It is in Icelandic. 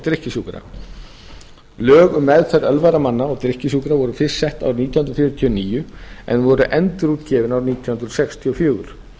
drykkjusjúkra lög um meðferð ölvaðra manna og drykkjusjúkra voru fyrst sett árið nítján hundruð fjörutíu og níu en voru endurútgefin árið nítján hundruð sextíu og fjögur